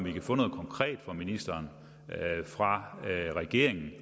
fra ministeren fra regeringen